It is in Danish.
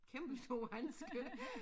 Kæmpestore handsker